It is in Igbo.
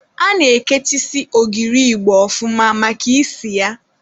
A na-ekechisi ogiri igbo ọfụma maka isi ya.